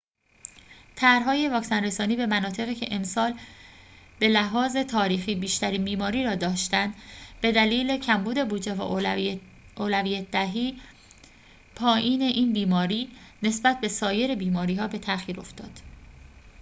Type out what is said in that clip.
طرح‌های واکسن‌رسانی به مناطقی که امسال به‌لحاظ تاریخی بیشترین بیماری را داشته‌اند به دلیل کمبود بودجه و اولویت‌دهی پایین این بیماری نسبت به سایر بیماری‌ها به تأخیر افتاد